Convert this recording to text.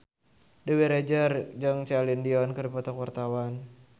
Dewi Rezer jeung Celine Dion keur dipoto ku wartawan